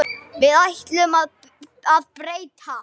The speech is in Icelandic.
Því ætlum við að breyta.